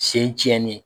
Sen tiɲɛnen